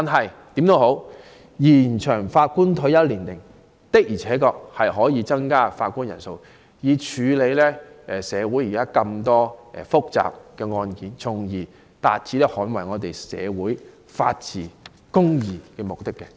無論如何，延展法官退休年齡確實有助增加法官人數，以處理現時大量的複雜案件，從而達致捍衞社會法治和公義的目的。